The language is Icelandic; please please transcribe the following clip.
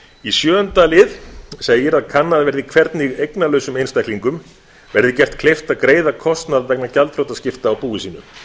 í sjöunda lið segir að kannað verði hvernig eignalausum einstaklingum verði gert kleift að greiða kostnað vegna gjaldþrotaskipta á búi sínu